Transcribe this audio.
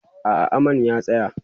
a'a aman ya tsaya